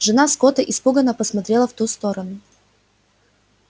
жена скотта испуганно посмотрела в ту сторону